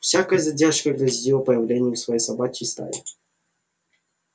всякая задержка грозила появлением всей собачьей стаи